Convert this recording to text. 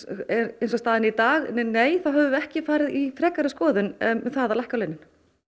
eins og staðan er í dag nei þá höfum við ekki farið í frekari skoðun um að lækka launin